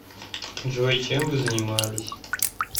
джой чем вы занимались